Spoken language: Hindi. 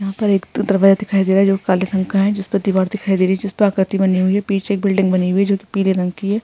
यहाँ पर एक दरवाजा दिखाई दे रहा है जो काले रंग का है जिसपे दिवार दिखाई दे रही है जिस पर आकृति बनी हुई है पीछे एक बिल्डिंग बनी हुई है जो कि पीले रंग की है।